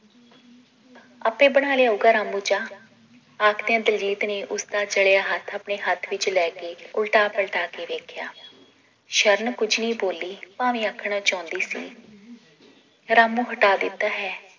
ਆਪੇ ਬਣਾ ਲਿਆਉਗਾ ਰਾਮੁ ਚਾਅ ਆਖਦਿਆਂ ਦਿਲਜੀਤ ਨੇ ਉਸਦਾ ਜਲਿਆ ਹੱਥ ਆਪਣੇ ਹੱਥ ਵਿਚ ਲੈ ਕੇ ਉਲਟਾ ਪਲਟਾ ਕੇ ਦੇਖਿਆ ਸ਼ਰਨ ਕੁਝ ਨਈ ਬੋਲੀ ਭਾਵੇਂ ਆਖਣਾ ਚਾਹੁੰਦੀ ਸੀ ਰਾਮੁ ਹਟਾ ਦਿੱਤਾ ਹੈ